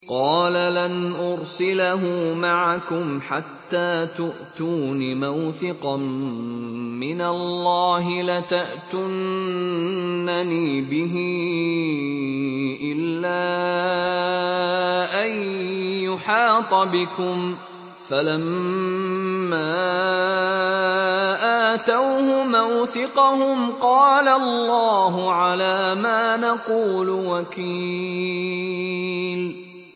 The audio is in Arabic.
قَالَ لَنْ أُرْسِلَهُ مَعَكُمْ حَتَّىٰ تُؤْتُونِ مَوْثِقًا مِّنَ اللَّهِ لَتَأْتُنَّنِي بِهِ إِلَّا أَن يُحَاطَ بِكُمْ ۖ فَلَمَّا آتَوْهُ مَوْثِقَهُمْ قَالَ اللَّهُ عَلَىٰ مَا نَقُولُ وَكِيلٌ